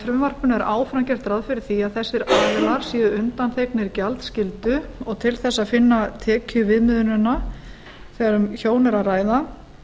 frumvarpinu er áfram gert ráð fyrir því að þessir aðilar séu undanþegnir gjaldskyldu og til þess að finna tekjuviðmiðunina þegar um hjón er ræða